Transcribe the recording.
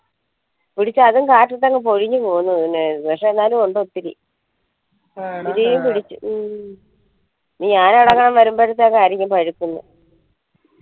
ഒരു കാറ്റിന് അങ്ങ് കൊഴിഞ്ഞ് പോവുന്ന് പഷേ എന്നാലും ഉണ്ട് ഒത്തിരി കൊറേ പിടിച്ചു ഇനി ഞാൻ അവിടെങ്ങാനും വരുമ്പോഴത്തേക്കായിരിക്കും പഴുക്കുന്നെ